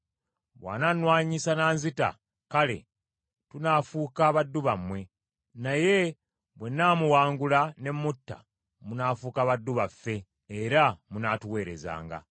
Bw’anannwanyisa n’anzita, kale tunaafuuka baddu bammwe, naye bwe nnaamuwangula ne mutta, munaafuuka baddu baffe era munaatuweerezanga.”